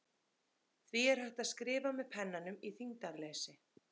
Því er hægt að skrifa með pennanum í þyngdarleysi.